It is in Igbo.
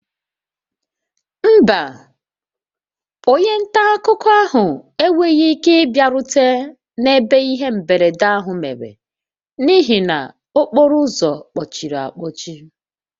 Mba, onye nta akụkọ ahụ enweghị ike ịbịarute n'ebe ihe mberede ahụ mere n'ihi na okporo ụzọ kpochiri akpochi